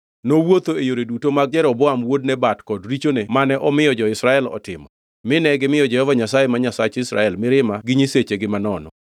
Nowuotho e yore duto mag Jeroboam wuod Nebat kod richone mane omiyo jo-Israel otimo, mine gimiyo Jehova Nyasaye, ma Nyasach Israel mirima gi nyisechegi manono.